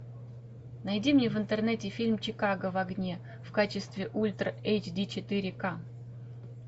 найди мне в интернете фильм чикаго в огне в качестве ультра эйч ди четыре ка